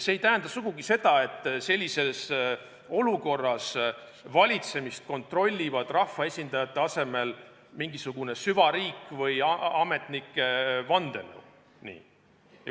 See ei tähenda sugugi seda, et sellises olukorras valitsemist kontrollib rahvaesindajate asemel mingisugune süvariik või ametnike vandenõu.